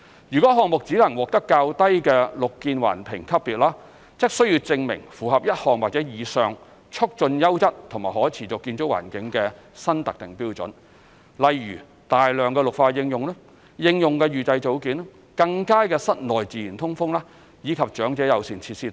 如項目只能獲得較低綠建環評級別，則須證明符合1項或以上促進優質和可持續建築環境的新特定標準，例如大量綠化應用、應用預製組件、更佳的室內自然通風，以及長者友善設施。